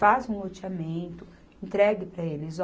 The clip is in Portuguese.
Faz um loteamento, entregue para eles.